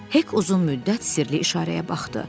Hek uzun müddət sirli işarəyə baxdı.